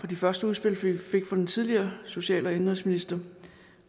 de første udspil vi fik fra den tidligere social og indenrigsminister